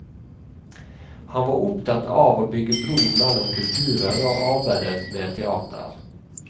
Han var opptatt av å bygge bro mellom kulturer og arbeidet med teater.